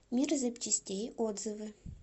мир запчастей отзывы